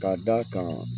Ka d'a kan